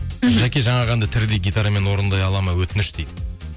мхм жәке жаңағы әнді тірідей гитарамен орындай алады ма өтініш дейді